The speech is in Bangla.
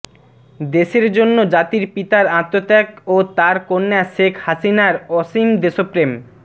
দেশের জন্য জাতির পিতার আত্মত্যাগ ও তার কন্যা শেখ হাসিনার অসীম দেশপ্রেম